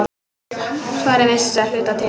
Svarið veistu að hluta til.